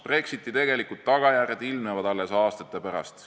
Brexiti tegelikud tagajärjed ilmnevad alles aastate pärast.